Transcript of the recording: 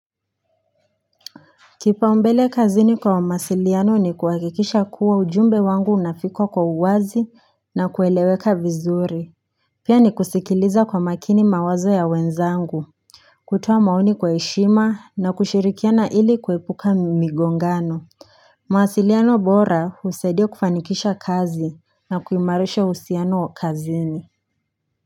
Kipaumbele kazini kwa masiliano ni kuhakikisha kuwa ujumbe wangu unafika kwa uwazi na kueleweka vizuri Pia ni kusikiliza kwa makini mawazo ya wenzangu kutoa maoni kwa heshima na kushirikiana ili kuepuka migongano mawasiliano bora husaidia kufanikisha kazi na kuimarisha uhusiano kazini.